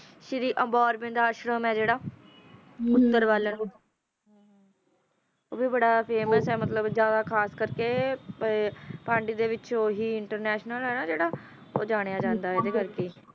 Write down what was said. ਭਗਵਾਨ ਦੇ ਨਾਲ ਰਾਮਗੜ੍ਹ ਭੁੱਲਰ ਵੈਨਕੂਵਰ ਇਲਾਕੇ ਵਿਚ ਖਾਸ ਕਰ ਕੇ ਜਾਣਿਆ ਜਾਂਦਾ ਹੈ